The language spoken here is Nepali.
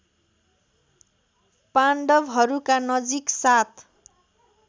पाण्डवहरूका नजिक सात